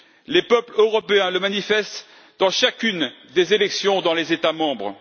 Les peuples européens le manifestent lors de chacune des élections dans les États membres.